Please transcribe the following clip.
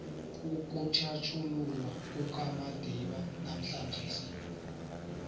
ukutjhatjhululwa kukamadiba namhlanjesi